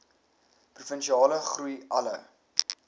provinsiale groei alle